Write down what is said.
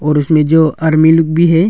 और उसमें जो आदमी लोग भी है।